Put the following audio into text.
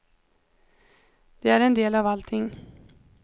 Det är en del av allting.